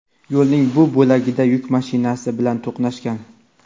Yo‘lning bu bo‘lagida yuk mashinasi bilan to‘qnashgan.